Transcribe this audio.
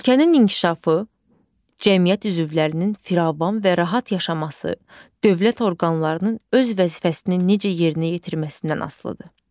Ölkənin inkişafı, cəmiyyət üzvlərinin firavan və rahat yaşaması, dövlət orqanlarının öz vəzifəsini necə yerinə yetirməsindən asılıdır.